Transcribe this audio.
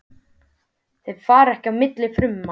Þau fara ekki á milli frumna.